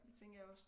Tænker jeg også